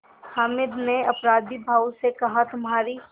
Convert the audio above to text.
हामिद ने अपराधीभाव से कहातुम्हारी